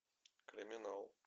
криминал